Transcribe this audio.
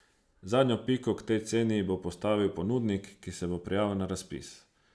Zadnjo piko k tej ceni bo postavil ponudnik, ki se bo prijavil na razpis.